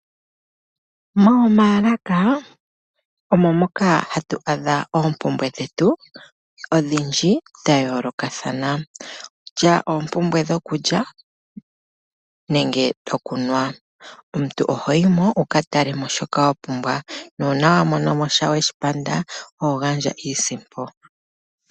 Momaalaka omo moka hatu adha oompumbwe dhetu ondji dha yooloka. Okutya oompumbwe dhokulya nenge odhokunwa. Omuntu oho yi mo wuka tale mo shoka wa pumbwa, nuuna wa mono mo shono weshi panda oho gandja iisimpo.